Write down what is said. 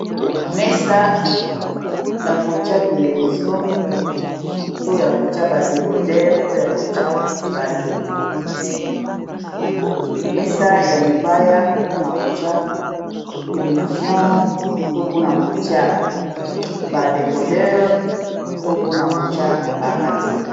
Mesa ya kotia televizion to ya kotia ba décodere to ya kotia radio .mesa ya libaya po na kotia televizion ,to pona kotia ba décodere to pona kotia ba radio.